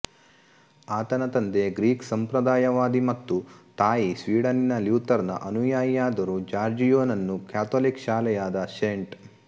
ಆತನ ತಂದೆ ಗ್ರೀಕ್ ಸಂಪ್ರದಾಯವಾದಿ ಮತ್ತು ತಾಯಿ ಸ್ವೀಡನ್ನಿನ ಲ್ಯೂತರ್ ನ ಅನುಯಾಯಿಯಾದರೂ ಜಾರ್ಜಿಯೊ ನನ್ನು ಕ್ಯಾಥೊಲಿಕ್ ಶಾಲೆಯಾದ ಸೆಂಟ್